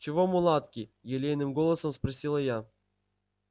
чего мулатки елейным голосом спросила я